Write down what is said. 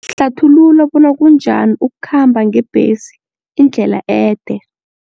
Hlathulula bona kunjani ukukhamba ngebhesi indlela ede.